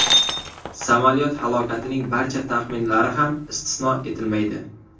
Samolyot halokatining barcha taxminlari ham istisno etilmaydi.